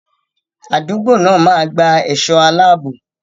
Àdúgbò náà máa gba ẹ̀ṣọ́ aláàbò.